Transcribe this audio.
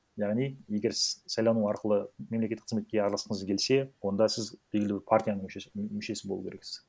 яғни егер сіз сайлану арқылы мемлекеттік қызметке араласқыңыз келсе онда сіз белгілі бір партияның мүшесі болу керексіз